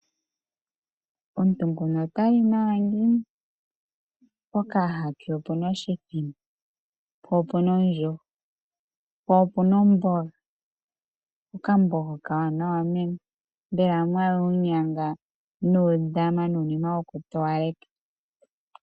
Omuntu nguno ota li nawa ngiini pokayaha ke opu na oshimbombo po opu na ondjuhwa po opu na omboga, okamboga okawanawa meme mbela mwaya uunyanga nuutama nuunima wokutowaleka.